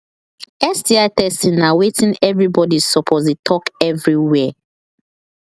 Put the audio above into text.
sti testing na watin everybody suppose the talk everywhere